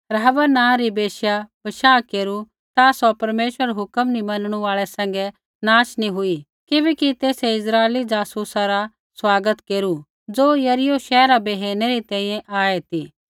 राहाब नाँ री वैश्यै बशाह केरू ता सौ परमेश्वरा रै हुक्म नी मनणु आल़ै सैंघै नाश नी हुई किबैकि तेसै इस्राइली जासूसा रा स्वागत केरू ज़ो यरीहो शैहरा बै हेरनै री तैंईंयैं आऐ ती